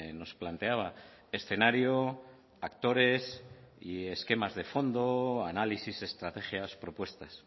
nos planteaba escenario actores y esquemas de fondo análisis estrategias propuestas